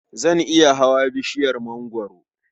Zan iya hawa bishiyar mangwaro.